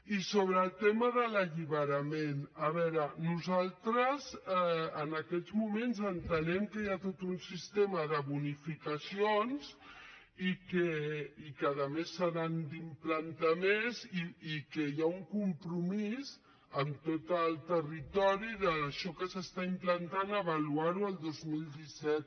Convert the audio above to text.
i sobre el tema de l’alliberament a veure nosaltres en aquests moments entenem que hi ha tot un sistema de bonificacions i que a més se n’han d’implantar més i que hi ha un compromís amb tot el territori d’això que s’està implantant d’avaluar ho el dos mil disset